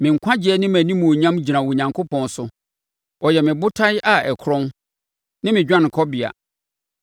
Me nkwagyeɛ ne mʼanimuonyam gyina Onyankopɔn so; ɔyɛ me botan a ɛkorɔn, ne me dwanekɔbea.